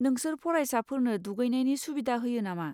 नोंसोर फरायसाफोरनो दुगैनायनि सुबिदा होयो नामा?